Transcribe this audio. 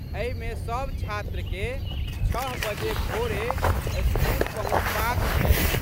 एहिमे सब छात्रके छः बजे भोरे स्कूल पहुँचबाक छै।